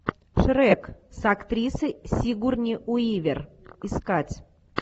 шрек с актрисой сигурни уивер искать